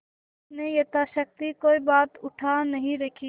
उसने यथाशक्ति कोई बात उठा नहीं रखी